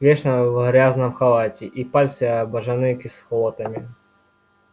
вечно в грязном халате и пальцы обожжены кислотами